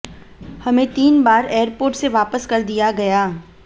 हमें तीन बार एयरपोर्ट से वापस कर दिया गया